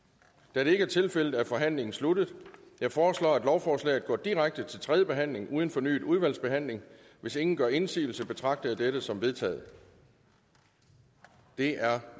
da det ikke er tilfældet er forhandlingen sluttet jeg foreslår at lovforslaget går direkte til tredje behandling uden fornyet udvalgsbehandling hvis ingen gør indsigelse betragter jeg dette som vedtaget det er